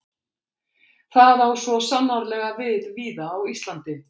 Það á svo sannarlega við víða á Íslandi.